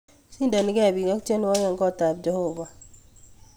Sidonike biik ak twenywokik en kotab jeobo